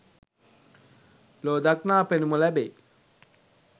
ලොව දක්නා පෙනුම ලැබේ